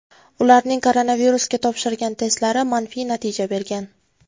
Ularning koronavirusga topshirgan testlari manfiy natija bergan.